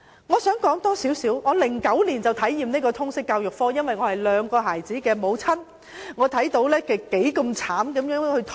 我在2009年已經體驗到修讀通識教育科多麼辛苦，因為我是兩個小朋友的母親。